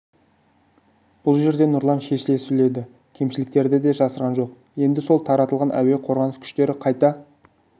бұл жерде нұрлан шешіле сөйледі кемшіліктерді де жасырған жоқ енді сол таратылған әуе қорғаныс күштері қайта